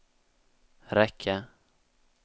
räcka